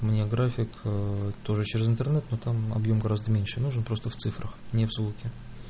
у меня график тоже через интернет но там объём гораздо меньше нужен просто в цифрах не в звуке